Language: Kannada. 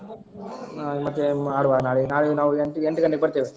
ಹಾ ಮತ್ತೆ ಆಡುವ ನಾಳೆ ಅಹ್ ನಾಳೆಗೆ ನಾವ್ ಎಂಟು ಗಂಟೆಗೆ ಬರ್ತೇನೆ.